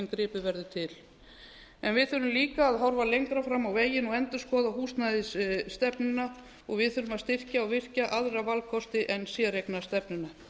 gripið verður til en við þurfum líka að horfa lengra fram á veginn og endurskoða húsnæðisstefnuna og varð þurfum að styrkja og virkja aðra valkosti en séreignarstefnuna